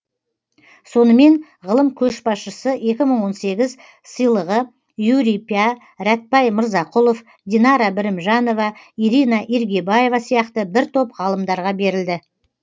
сонымен ғылым көшбасшысы екі мың он сегіз сыйлығы юрий пя рәтбай мырзақұлов динара бірімжанова ирина иргибаева сияқты бір топ ғалымдарға берілді